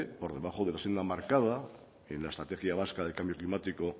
por debajo de la senda marcada en la estrategia vasca de cambio climático